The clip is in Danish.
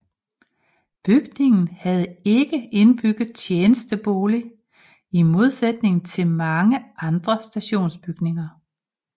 Bygningen havde ikke indbygget tjenestebolig i modsætning til mange andre stationsbygninger